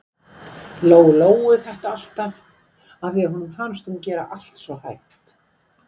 Lóu-Lóu þetta alltaf, af því að honum fannst hún gera allt svo hægt.